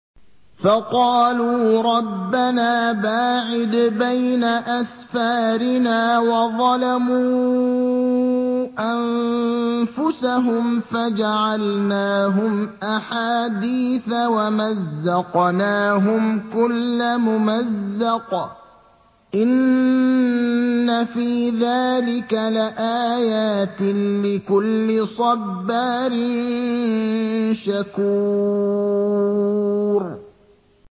فَقَالُوا رَبَّنَا بَاعِدْ بَيْنَ أَسْفَارِنَا وَظَلَمُوا أَنفُسَهُمْ فَجَعَلْنَاهُمْ أَحَادِيثَ وَمَزَّقْنَاهُمْ كُلَّ مُمَزَّقٍ ۚ إِنَّ فِي ذَٰلِكَ لَآيَاتٍ لِّكُلِّ صَبَّارٍ شَكُورٍ